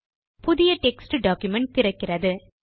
புதிய text document திறக்கிறது